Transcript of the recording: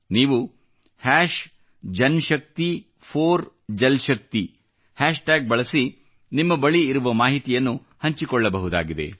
ನೀವು JanShakti4JalShakti hashtag ಬಳಸಿ ನಿಮ್ಮ ಬಳಿ ಇರುವ ಮಾಹಿತಿಯನ್ನು ಹಂಚಿಕೊಳ್ಳಬಹುದಾಗಿದೆ